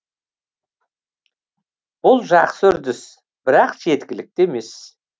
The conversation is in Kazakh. бұл жақсы үрдіс бірақ жеткілікті емес